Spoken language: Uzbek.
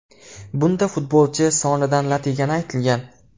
Bunda futbolchi sonidan lat yegani aytilgan.